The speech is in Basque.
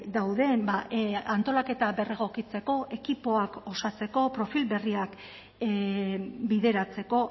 dauden antolaketa berregokitzeko ekipoak osatzeko profil berriak bideratzeko